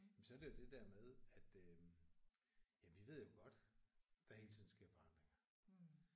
Jamen så er det jo det der med at øh jamen vi ved jo godt der hele tiden sker forandringer